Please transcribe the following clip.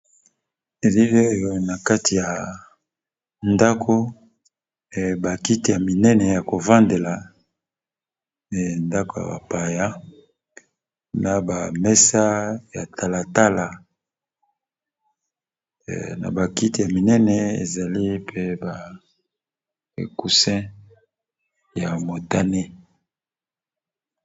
Elili oyo na kati ya ndako bakiti ya minene ya kovandela e ndako ya bapaya, na bamesa ya talatala na bakiti ya minene ezali mpe ba ekusi ya ĝþ